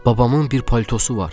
Babamın bir paltosu var.